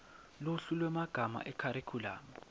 luhlu lwemagama ekharikhulamu